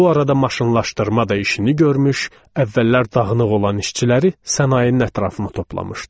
Bu arada maşınlaşdırma da işini görmüş, əvvəllər dağınıq olan işçiləri sənayenin ətrafına toplamışdı.